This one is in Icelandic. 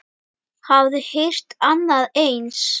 Hafiði heyrt annað eins?